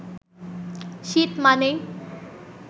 শীত মানেই